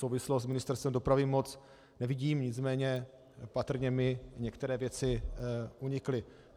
Souvislost s Ministerstvem dopravy moc nevidím, nicméně patrně mi některé věci unikly.